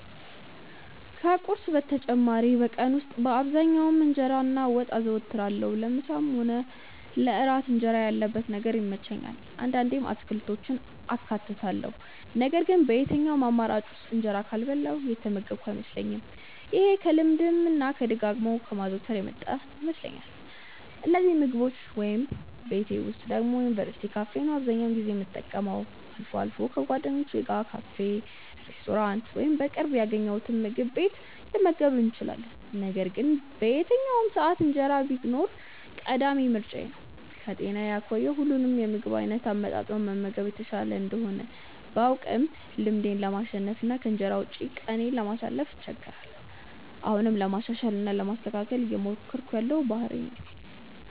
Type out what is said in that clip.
ከቁርስ በተጨማሪ በቀን ውስጥ በአብዛኛው እንጀራ እና ወጥ አዘወትራለሁ። ለምሳም ሆነ ለእራት እንጀራ ያለበት ነገር ይመቸኛል። አንዳንዴም አትክልቶችን አካትታለሁ ነገር ግን በየትኛውም አማራጭ ውስጥ እንጀራ ካልበላሁ የተመገብኩ አይመስለኝም። ይሄ ከልማድ እና ደጋግሞ ከማዘውተር የመጣ ይመስለኛል። እነዚህን ምግቦች ወይ ቤቴ ወይ ደግሞ የዩኒቨርስቲ ካፌ ነው አብዛኛውን የምጠቀመው። አልፎ አልፎ ከጓደኞቼ ጋር ካፌ፣ ሬስቶራንት ወይም በቅርብ ያገኘነውምግብ ቤት ልንመገብ እንችላለን። ነገር ግን በየትኛውም ሰዓት እንጀራ ቢኖር ቀዳሚ ምርጫዬ ነው። ከጤና አኳያ ሁሉንም የምግብ አይነት አመጣጥኖ መመገብ የተሻለ እንደሆነ ባውቅም ልማዴን ለማሸነፍ እና ከእንጀራ ውጪ ቀኔን ለማሳለፍ እቸገራለሁ። አሁንም ለማሻሻል እና ለማስተካከል እየሞከርኩት ያለው ባህሪዬ ነው።